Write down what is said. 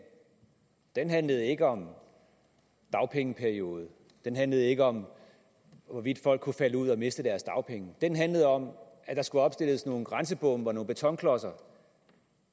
den handlede ikke om dagpengeperiode den handlede ikke om hvorvidt folk kunne falde ud og miste deres dagpenge den handlede om at der skulle opstilles nogle grænsebomme og nogle betonklodser